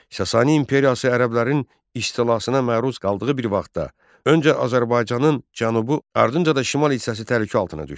Sasani imperiyası ərəblərin istilasına məruz qaldığı bir vaxtda, öncə Azərbaycanın cənubu, ardınca da şimal hissəsi təhlükə altına düşdü.